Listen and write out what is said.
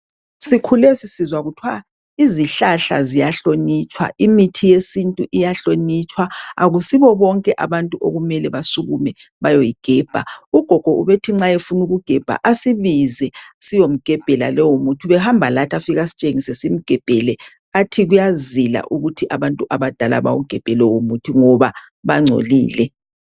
Sikhule sisizwa kuthwa izihlahla ziyahlonitshwa imithi yesintu iyahlonitshwa akusibo bonke abantu okumele basukume bayoyigebha ugogo ubethi nxa efuna ukugebha asibize siyomgebhela leyo mithi ubehamba lathi afike esitshengise simgebhele athi kuyazila ukuthi abantu abadala bawugebhe lowomuthi ngoba bangcolile.